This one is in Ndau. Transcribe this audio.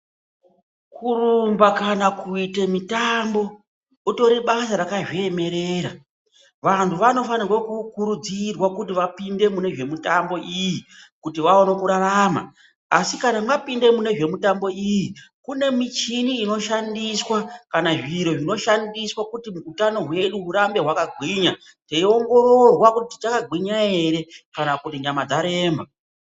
Kurumba kana kuita mitambo ritori basa rakazviemerera vanthu vanofanira kukurudzirwa kuti vapinde mune zvemitambo iyi kuti vaone kurarama asi kana mapinda mune zvemitambo iyi kune michini inoshandiswa kana zviro zvinoshandiswa kuti utano hwedu hurambe hwakagwinya teiongororwa tichakageinya ere kana kuti nyama dzaremba.